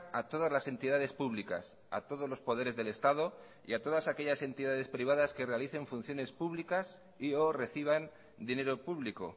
a todas las entidades públicas a todos los poderes del estado y a todas aquellas entidades privadas que realicen funciones públicas y o reciban dinero público